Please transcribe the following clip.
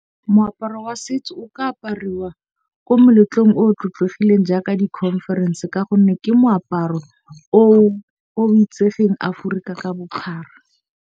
Moaparo wa setso o ka apariwa ko meletlong o tlotlegileng jaaka di conference. Ka gonne ke moaparo o itsegeng Aforika ka bophara.